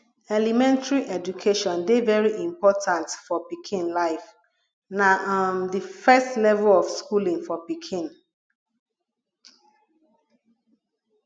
elementry education dey very important for pikin life na um di first level of schooling for pikin